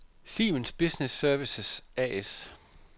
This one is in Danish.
Siemens Business Services A/S